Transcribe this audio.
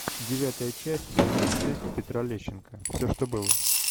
девятая часть сезон шесть петра лещенко все что было